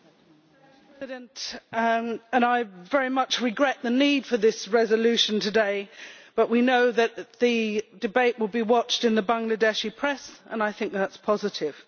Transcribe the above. Madam President, I very much regret the need for this resolution today, but we know that the debate will be watched in the Bangladeshi press, and I think that is positive.